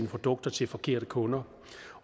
produkter til forkerte kunder